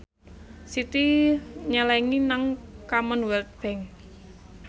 Siti nyelengi nang Commonwealth Bank